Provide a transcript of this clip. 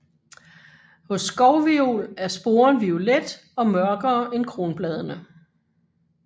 Hos skovviol er sporen violet og mørkere end kronbladene